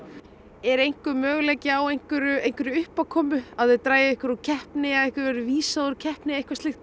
er möguleiki á einhverri einhverri uppákomu að þið dragið ykkur úr keppni eða ykkur verði vísað úr keppni